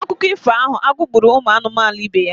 N'akụkọ ifo ahụ, agụ gbụrụ ụmụ anụmanụ ibe ya.